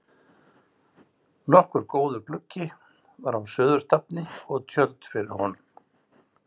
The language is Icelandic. Nokkuð góður gluggi var á suðurstafni og tjöld fyrir honum.